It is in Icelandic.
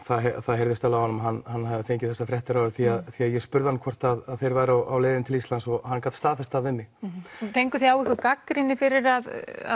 það heyrðist alveg á honum að hann hefði fengið þessar fréttir því því að ég spurði hann hvort þeir væru á leiðinni til Íslands og hann gat staðfest það við mig fenguð þið á ykkur gagnrýni fyrir að